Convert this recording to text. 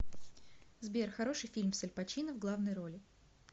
сбер хороший фильм с альпачино в главной роли